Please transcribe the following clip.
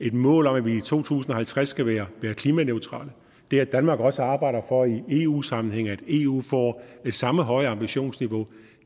et mål om at vi i to tusind og halvtreds skal være klimaneutrale det har danmark også arbejdet for i eu sammenhæng nemlig at eu får det samme høje ambitionsniveau